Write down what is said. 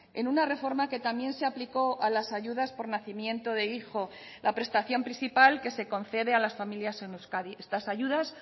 en una reforma que también se aplicó a las ayudas por nacimiento de hijo la prestación principal que se concede a las familias en euskadi estas ayudas